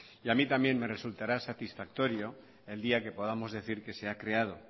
a mí también me resultará satisfactorio el día que podamos decir que se ha creado